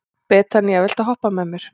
Betanía, viltu hoppa með mér?